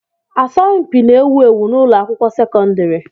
Asọmpi n'ewu ewu n'ụlọ akwụkwọ sekọndrị.